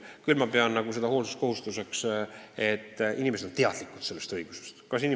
Küll peab riik oma hoolduskohustust selles mõttes täitma, et inimesed peavad sellest õigusest teadlikud olema.